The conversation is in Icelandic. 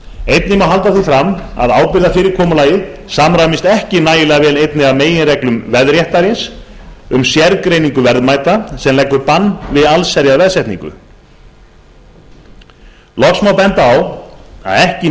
einnig má halda því fram að ábyrgðarfyrirkomulagið samræmist ekki nægilega vel einni af meginreglum veðréttarins um sérgreiningu verðmæta sem leggur bann við allsherjarveðsetningu loks má benda á að ekki